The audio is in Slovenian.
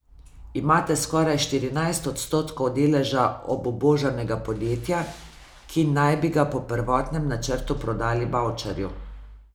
Imate skoraj štirinajst odstotkov deleža obubožanega podjetja, ki naj bi ga po prvotnem načrtu prodali Bavčarju.